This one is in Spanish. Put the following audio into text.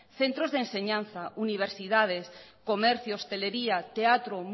centros de enseñanzas universidades comercio hostelería teatro